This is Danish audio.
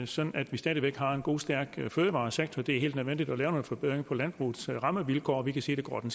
sådan at vi stadig væk har en god stærk fødevaresektor det er helt nødvendigt at lave nogle forbedringer af landbrugets rammevilkår vi kan sige det går den